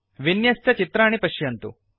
विन्यस्तचित्राणि पश्यन्तु